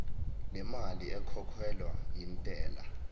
lemali ekhokhelwa intela